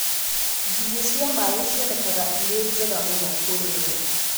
Ngigĩ cia maĩ cionekaga irĩ njega mũno kũrĩo